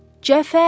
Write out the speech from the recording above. Cəfər!